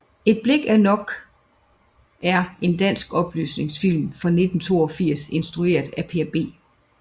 Et blik er nok er en dansk oplysningsfilm fra 1982 instrueret af Per B